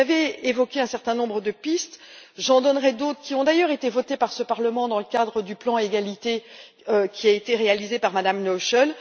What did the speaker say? Vous avez évoqué un certain nombre de pistes, j'en donnerai d'autres, qui ont d'ailleurs été votées par ce Parlement dans le cadre du plan égalité qui a été réalisé par Mme Noichl.